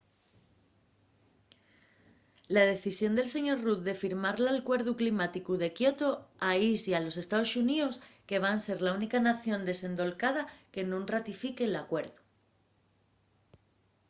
la decisión del sr. rudd de firmar l’alcuerdu climáticu de kyoto aislla a los estaos xuníos que van ser la única nación desendolcada que nun ratifique l’alcuerdu